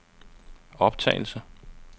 optagelse